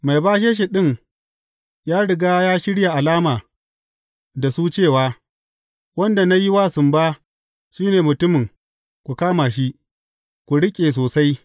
Mai bashe shi ɗin ya riga ya shirya alama da su cewa, Wanda na yi wa sumba, shi ne mutumin, ku kama shi, ku riƙe sosai.